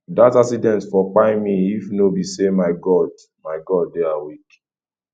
dat accident for kpai me if no be sey my god my god dey awake